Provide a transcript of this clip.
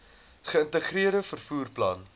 geïntegreerde vervoer plan